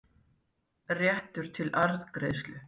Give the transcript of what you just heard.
réttur til arðgreiðslu.